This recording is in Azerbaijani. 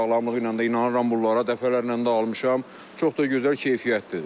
Sağlamlığına da inanıram bunlara, dəfələrlə də almışam, çox da gözəl keyfiyyətlidir.